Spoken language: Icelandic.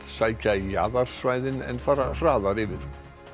sækja í jaðarsvæðin en fara hraðar yfir